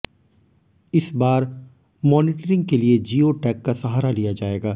इस बार मॉनीटरिंग के लिए जियो टैग का सहारा लिया जाएगा